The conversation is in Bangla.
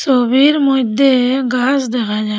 ছবির মইধ্যে গাস দেখা যায়।